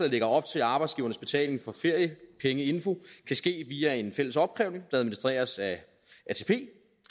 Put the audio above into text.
lægger op til at arbejdsgivernes betaling for feriepengeinfo kan ske via en fælles opkrævning der administreres af atp